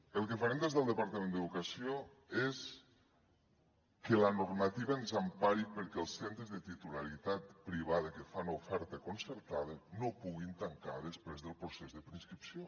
el que farem des del departament d’educació és que la normativa ens empari perquè els centres de titularitat privada que fan oferta concertada no puguin tancar després del procés de preinscripció